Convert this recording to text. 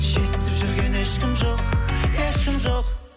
жетісіп жүрген ешкім ешкім жоқ